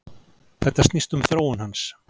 Þetta snýst um þróun hans.